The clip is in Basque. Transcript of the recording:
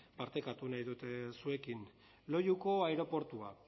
partekatu nahi dut zuekin loiuko aireportua